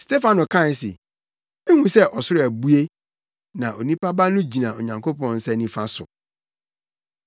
Stefano kae se, “Mihu sɛ ɔsoro abue na Onipa Ba no gyina Onyankopɔn nsa nifa so!”